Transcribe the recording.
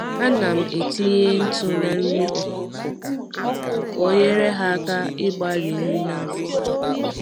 Anam etinye ntụ na nri ọkụkọ ka onyere ha aka ịgbari nri na afọ ha